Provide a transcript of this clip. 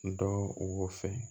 Dɔ wɔsɔ